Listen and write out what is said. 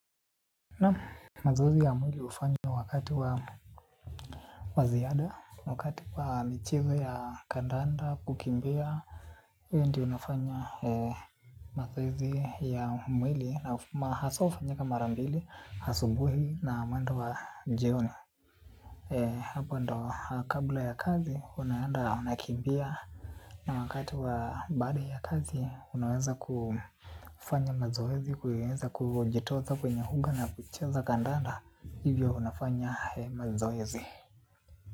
Naam mazoezi ya mwili hufanywa wakati wa ziada wakati wa michezo ya kandanda kukimbia. Hiyo ndio inafanya mazoezi ya mwili na haswa hufanyika mara mbili, asubuhi na mwendo wa jioni. Hapo ndo kabla ya kazi unaenda unakimbia na wakati wa baada ya kazi unaweza kufanya mazoezi kuieza kujitoza kwenye uga na kucheza kandanda. Hivyo nafanya mazoezi.